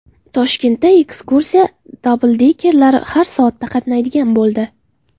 Toshkentda ekskursiya dabldekerlari har soatda qatnaydigan bo‘ldi.